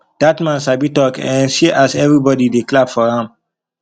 dat man sabi talk eh see as everybody dey clap for am